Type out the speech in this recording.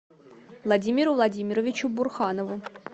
владимиру владимировичу бурханову